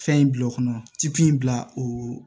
Fɛn in bila o kɔnɔ tipu in bila oo